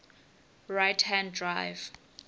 right hand drive